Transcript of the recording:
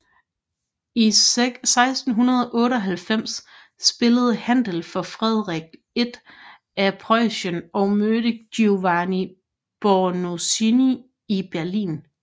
I 1698 spillede Händel for Frederik I af Preussen og mødte Giovanni Bononcini i Berlin